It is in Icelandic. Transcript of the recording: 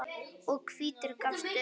og hvítur gafst upp.